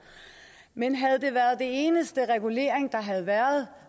men havde det været den eneste regulering der havde været